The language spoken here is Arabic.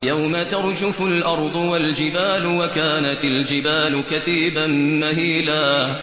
يَوْمَ تَرْجُفُ الْأَرْضُ وَالْجِبَالُ وَكَانَتِ الْجِبَالُ كَثِيبًا مَّهِيلًا